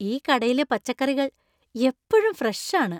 ഈ കടയിലെ പച്ചക്കറികൾ എപ്പഴും ഫ്രഷ് ആണ് !